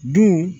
Dun